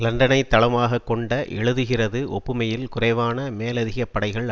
லண்டனை தளமாக கொண்ட எழுதுகிறது ஒப்புமையில் குறைவான மேலதிகப் படைகள்